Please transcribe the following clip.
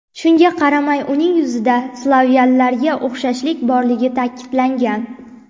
Shunga qaramay, uning yuzida slavyanlarga o‘xshashlik borligi ta’kidlangan.